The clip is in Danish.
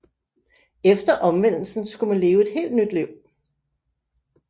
Efter omvendelsen skulle man leve et helt nyt liv